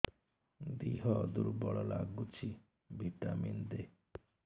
ଦିହ ଦୁର୍ବଳ ଲାଗୁଛି ଭିଟାମିନ ଦେ